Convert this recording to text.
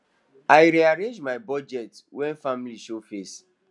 i rearrange my budget when family show face